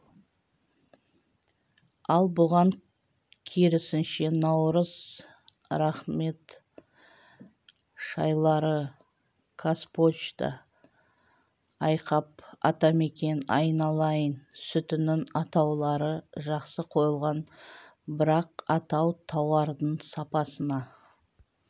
ал бұған керісінше наурыз рахмет шайлары қазпошта айқап атамекен айналайын сүтінің атаулары жақсы қойылған бірақ атау тауардың сапасына